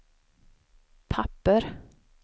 papper